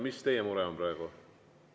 Mis teie mure on praegu?